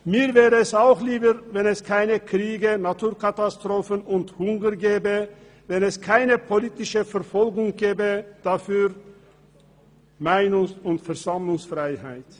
Mir wäre es auch lieber, wenn es keine Kriege, Naturkatastrophen und Hunger gäbe, wenn es keine politische Verfolgung gäbe, dafür Meinungs- und Versammlungsfreiheit.